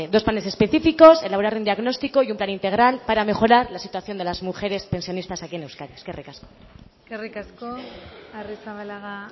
es ese dos planes específicos elaborar u diagnóstico y un plan integral para mejorar la situación de las mujeres pensionistas aquí en euskadi eskerrik asko eskerrik asko arrizabalaga